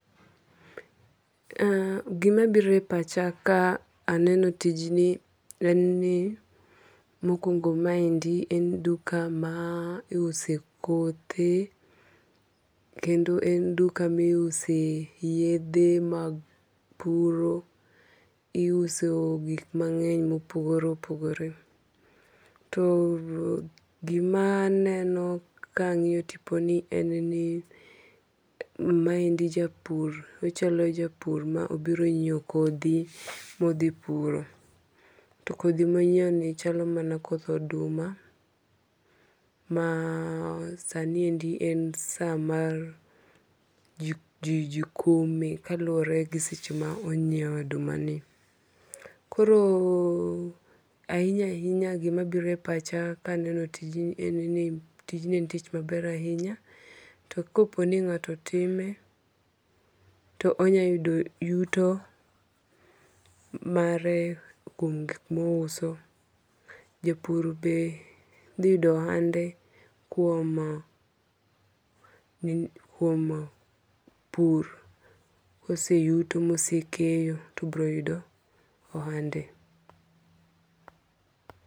Gima biro e pacha ka aneno tijni en ni mokwongo maendi en duka ma iuse kothe. Kendo en duka miuse yedhe mag puro. Iuso gik mang'eny mopogore opogore. To gima neno ka ang'iyo tiponi en ni maendi japur. Ochalo japur ma obiro ng'iew kodho modhi puro. To kodhi monyiew ni chalo mana koth oduma. Ma sani endi en sa ma jikome kaluwore gi seche ma ong'iewe oduma ni. Koro ahinya ahinya gima biro e pacha kaneno tijni en ni tijni en tich maber ahinya. To kopo ni ng'ato time to onya yudo yuto mare kuom gik mouso. Japur be dhi yudo ohande kuom pur. Koseyuto mose keyo to obiro yudo ohande.